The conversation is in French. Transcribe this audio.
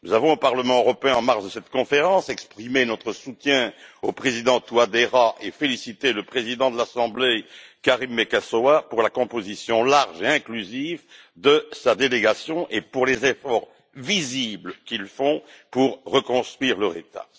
Au Parlement européen, en marge de cette conférence, nous avons exprimé notre soutien au président Touadéra et félicité le président de l'assemblée, Karim Meckassoua, pour la composition large et inclusive de sa délégation et pour les efforts visibles qu'ils font pour reconstruire leur État.